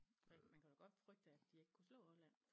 Man kunne da godt frygte at de ikke kunne slå Holland